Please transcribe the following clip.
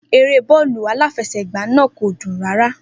Eré bọ́ọ̀lù aláfẹsẹ̀gbá náà kò dùn rárá.